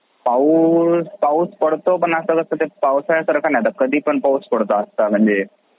पाऊस... पाऊस पडतो पण ते असा म्हणजे पावसाळ्या सारखं नाही म्हणजे कधी पण पडतो असा काय नाही